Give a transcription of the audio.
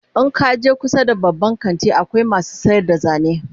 in kaje kusa da babban kanti akwai masu sayar da zane